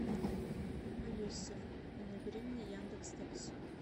алиса набери мне яндекс такси